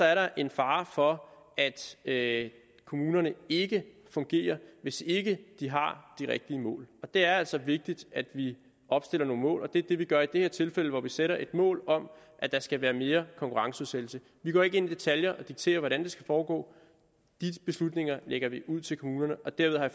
er en fare for at kommunerne ikke fungerer hvis ikke de har de rigtige mål det er altså vigtigt at vi opstiller nogle mål og det er det vi gør i det her tilfælde hvor vi sætter et mål om at der skal være mere konkurrenceudsættelse vi går ikke ind i detaljer og dikterer hvordan det skal foregå de beslutninger lægger vi ud til kommunerne og derved har